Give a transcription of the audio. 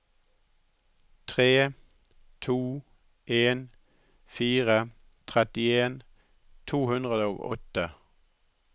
tre to en fire trettien to hundre og åtte